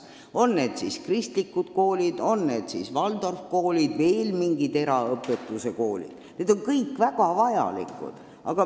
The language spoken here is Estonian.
On need siis kristlikud koolid, on need siis Waldorfi koolid või veel mingid erakoolid – need on kõik väga vajalikud.